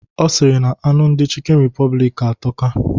Ọ sịrị na anụ ndị Chịkịn Repọblik atọka.